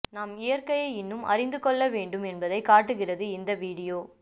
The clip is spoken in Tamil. நாம் இயற்கையை இன்னும் அறிந்துகொள்ள வேண்டும் என்பதைக் காட்டுகிறது இந்த வீடியோ